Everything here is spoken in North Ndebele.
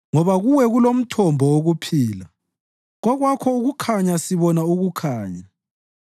Ngoba kuwe kulomthombo wokuphila; kokwakho ukukhanya sibona ukukhanya.